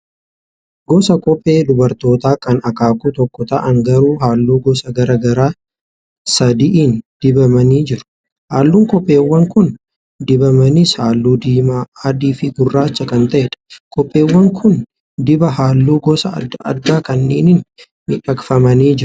Gosa kophee dubartootaa kan akaakuu tokko ta'an garuu halluu gosa garaa garaa sadiin dibamanii jiru. Halluun kopheewwan kun dibamanis, halluu diimaa, adii fi gurraacha kan ta'edha. Kopheewwan kun dibaa halluu gosa adda addaa kanneeniin miidhagfamanii jiru.